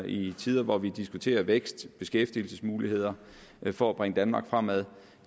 i tider hvor vi diskuterer vækst beskæftigelsesmuligheder for at bringe danmark fremad